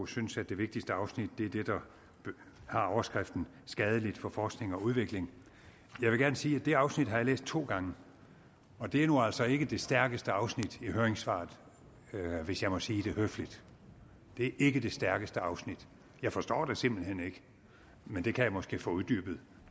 synes at det vigtigste afsnit er det der har overskriften skadeligt for forskning og udvikling jeg vil gerne sige at det afsnit har jeg læst to gange og det er nu altså ikke det stærkeste afsnit i høringssvaret hvis jeg må sige det høfligt det er ikke det stærkeste afsnit jeg forstår det simpelt hen ikke men det kan jeg måske få uddybet